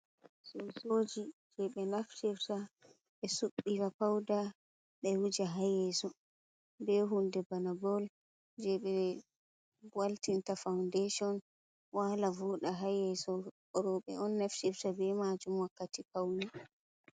Sosoji je ɓe naftirta ɓe subbira pauda, ɓe wuja haa yeeso, be huunde bana bol je ɓe waltinta fondeshon waala voɗa, haa yeeso rooɓe on naftirta be maajum wakkati paune.